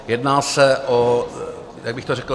Jedná se o - jak bych to řekl?